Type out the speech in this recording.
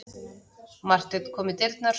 Marteinn kom í dyrnar.